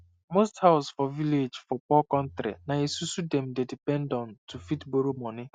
most house for village for poor kontri na esusu dem dey depend on to fit borrow money